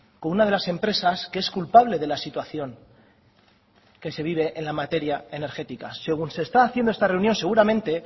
con una de las empresas que es culpable de la situación que se vive en la materia energética según se está haciendo esta reunión seguramente